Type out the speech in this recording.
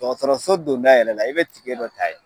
Dɔgɔtɔrɔso donda yɛrɛ la, i be tikɛ dɔ ta yen.